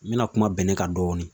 N mina kuma bɛnɛ kan dɔɔni